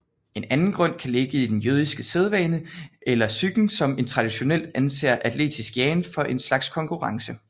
En anden grund kan ligge i den jødiske sædvane eller psyken som traditionelt anser atletisk jagen for en slags konkurrence